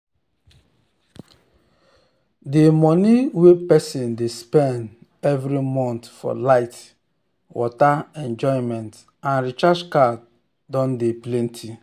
d money wey person dey spend every month for light water enjoyment and recharge card don de plenty